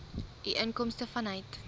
u inkomste vanuit